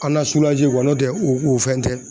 An na n'o tɛ u u fɛn tɛ.